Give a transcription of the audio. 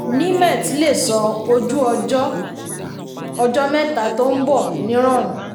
nimet lè sọ ojú-ọjọ́ ọjọ́ mẹ́ta tó nbọ̀ ní rọrùn.